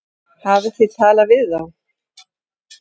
Hafið þið talað við þá?